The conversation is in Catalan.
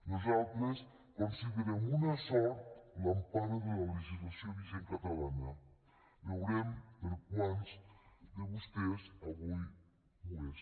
nosaltres considerem una sort l’empara de la legislació vigent catalana veurem per a quants de vostès avui ho és